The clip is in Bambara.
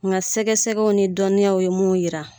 Nga sɛgɛ sɛgɛw ni dɔnniyaw ye mun yira